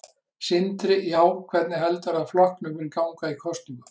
Sindri: Já, hvernig heldurðu að flokknum muni ganga í kosningum?